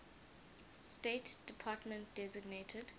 state department designated